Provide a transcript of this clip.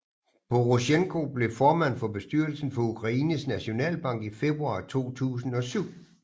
Porosjenko blev formand for bestyrelsen for Ukraines Nationalbank i februar 2007